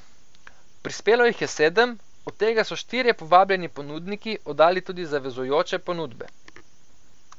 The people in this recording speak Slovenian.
Prispelo jih je sedem, od tega so štirje povabljeni ponudniki oddali tudi zavezujoče ponudbe.